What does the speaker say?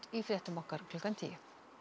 í fréttum klukkan tíu